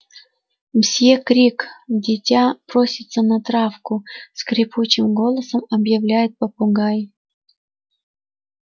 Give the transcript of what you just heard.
мсьё крик дитя просится на травку скрипучим голосом объявляет попугай